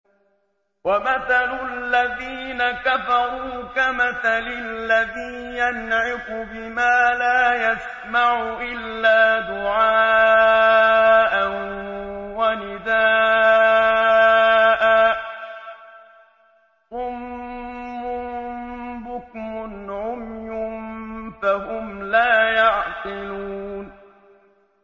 وَمَثَلُ الَّذِينَ كَفَرُوا كَمَثَلِ الَّذِي يَنْعِقُ بِمَا لَا يَسْمَعُ إِلَّا دُعَاءً وَنِدَاءً ۚ صُمٌّ بُكْمٌ عُمْيٌ فَهُمْ لَا يَعْقِلُونَ